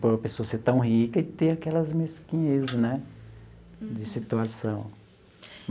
Por uma pessoa ser tão rica e ter aquelas mesquinhez né de situação.